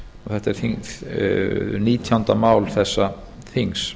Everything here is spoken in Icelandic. þetta er nítjándi mál þessa þings